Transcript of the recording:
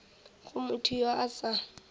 go motho yo a sa